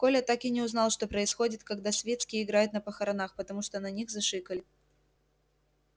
коля так и не узнал что происходит когда свицкий играет на похоронах потому что на них зашикали